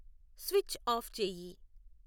switch off చేయి